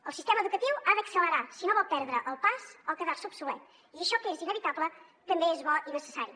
el sistema educatiu ha d’accelerar si no vol perdre el pas o quedar se obsolet i això que és inevitable també és bo i necessari